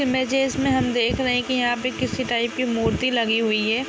Images में हम देख रहे हैं कि यहां पे किसी टाइप की मूर्ति लगी हुई है।